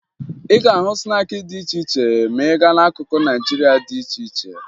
Ị ga-ahụ snaakị dị iche iche ma ị gaa n'akụkụ Naịjirịa dị iche iche